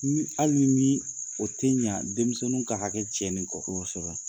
Ni hali nimi o tɛ ɲɛ denmisɛnw ka hakɛ cɛ ni kɔ, kosɛbɛ.